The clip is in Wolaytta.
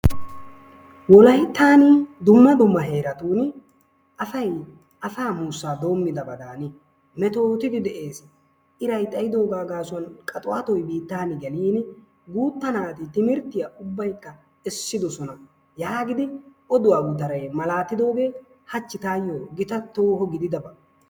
Wolayttan dumma dumma heeratun asay asaa muussa doomidoobadan metottidi de'ees. iray xayddoga gaasuwan qaxuwatoy biittaa bolli gelin guutta naati timirttiya essidoosona yaagidi oduwa gutaray yootidooge hachchi taayo gita toho gididaba.